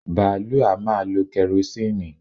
Bààlúù a máa lọ kẹrosíìnì